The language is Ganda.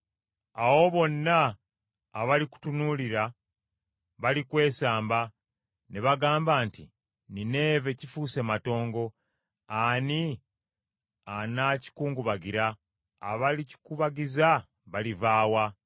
Awo bonna abalikutunuulira balikwesamba ne bagamba nti, ‘Nineeve kifuuse matongo, ani anakikungubagira?’ Abalikikubagiza baliva wa?”